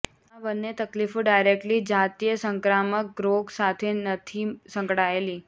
આ બન્ને તકલીફો ડાયરેક્ટલી જાતીય સંક્રામક રોગ સાથે નથી સંકળાયેલી